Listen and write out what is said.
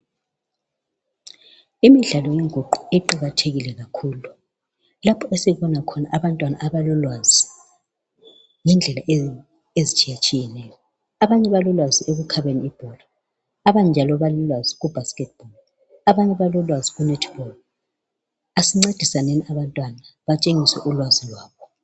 Imidlalo yenguqu iqakatheke kakhulu lapho esibona khona abantwana abalolwazi ngendlela ezitshiyatshiyeneyo. Abanye balolwazi ekukhabeni ibhola, abanye njalo balolwazi ku basketball abanye balolwazi ku netball. Asincedisaneni abantwana batshengise ulwazi lwabo.